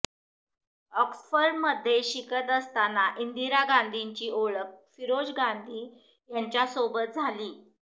ऑक्सफर्डमध्ये शिकत असताना इंदिरा गांधीची ओळख फिरोज गांधी यांच्यासोबत झाली